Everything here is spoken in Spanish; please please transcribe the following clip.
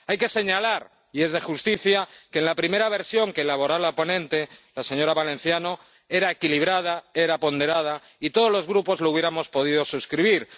Hay que señalar —y es de justicia— que la primera versión que elaboró la ponente, la señora Valenciano, era equilibrada, era ponderada, y todos los grupos la hubiéramos podido suscribir.